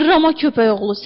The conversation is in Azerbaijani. Zırrama köpək oğlu!